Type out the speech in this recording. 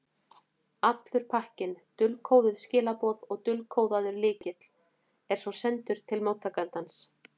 Allur pakkinn, dulkóðuð skilaboð og dulkóðaður lykill, er svo sendur til móttakandans.